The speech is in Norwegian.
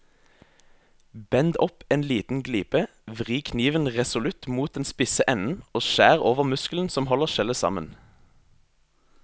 Bend opp en liten glipe, vri kniven resolutt mot den spisse enden og skjær over muskelen som holder skjellet sammen.